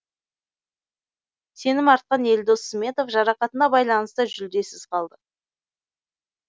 сенім артқан елдос сметов жарақатына байланысты жүлдесіз қалды